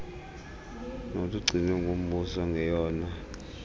nolugcinwe ngumbuso ngeyona